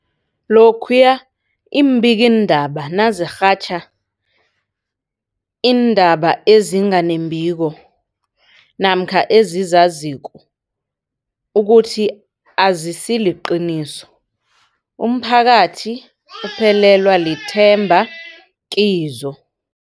Lokhuya iimbikiindaba nazirhatjha iindaba ezinga nembiko namkha ezizaziko ukuthi azisiliqiniso, umphakathi uphelelwa lithemba kizo.